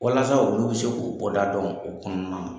Walasa olu bi se k'u kɔ da dɔn o kɔnɔna na.